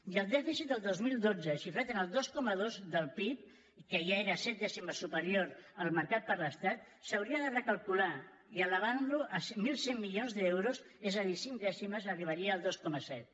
i el dèficit del dos mil dotze xifrat en el dos coma dos del pib que ja era set dècimes superior al marcat per l’estat s’hauria de recalcular i elevant lo en mil cent milions d’euros és a dir cinc dècimes arribaria al dos coma set